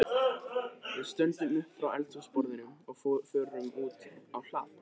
Við stöndum upp frá eldhúsborðinu og förum út á hlað.